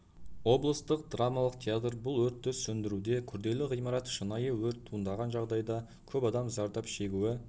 облыстық драмалық театр бұл өртті сөндіруде күрделі ғимарат шынайы өрт туындаған жағдайда көп адам зардап шегуі